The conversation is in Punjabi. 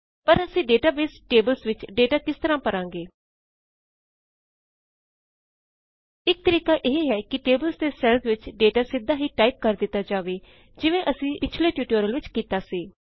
ਪਰ ਅਸੀ ਡੇਟਾਬੇਸ ਟੇਬ੍ਲ੍ਸ ਵਿਚ ਡੇਟਾ ਕਿਸ ਤਰਹ ਭਰਾਂਗੇ ਇਕ ਤਰੀਕਾ ਇਹ ਹੈ ਕੀ ਟੇਬਲਸ ਦੇ ਸੈੱਲਜ਼ ਵਿਚ ਡੇਟਾ ਸਿੱਧਾ ਹੀ ਟਾਇਪ ਕਰ ਦਿੱਤਾ ਜਾਵੇ ਜਿਵੇਂ ਅਸੀਂ ਪਿਛਲੇ ਟਿਯੂਟੋਰਿਅਲ ਵਿਚ ਕੀਤਾ ਸੀ